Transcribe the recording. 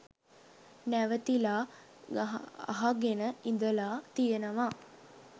නැවතිලා අහගෙන ඉඳලා තියෙනවා.